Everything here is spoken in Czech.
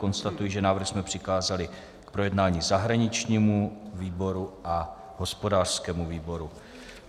Konstatuji, že návrh jsme přikázali k projednání zahraničnímu výboru a hospodářskému výboru.